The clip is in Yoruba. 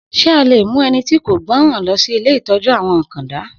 Sé a le mú ẹni tí kò gbọ́ran lọ si ilé ìtọ́jú-àwọn akanda.